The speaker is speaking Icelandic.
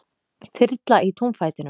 Þyrla í túnfætinum